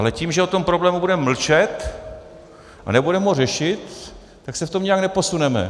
Ale tím, že o tom problému budeme mlčet a nebudeme ho řešit, tak se v tom nijak neposuneme.